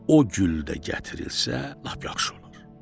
O gül də gətirilsə lap yaxşı olar.